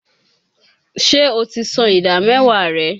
Ṣé o ti san ìdá mẹ́wàá rẹ?